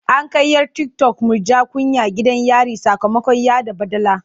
An kai 'yar tiktok Murja Kunya gidan yari sakamakon yaɗa baɗala.